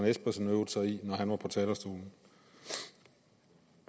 espersen øvede sig i når han var på talerstolen